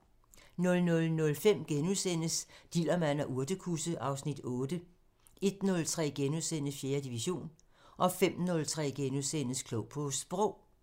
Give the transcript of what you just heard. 00:05: Dillermand og urtekusse (Afs. 8)* 01:03: 4. division * 05:03: Klog på Sprog *